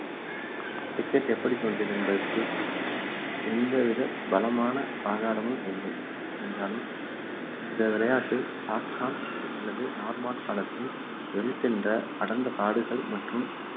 cricket எப்படி தோன்றியது என்பதற்கு எந்தவித பலமான ஆதாரமும் இல்லை என்றாலும் இந்த விளையாட்டு சாக்சன் அல்லது நார்மன் காலத்தில் வேல்ட் என்ற அடர்ந்த காடுகள் மற்றும்